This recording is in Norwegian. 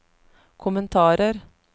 kommentarer